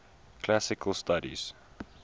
classical studies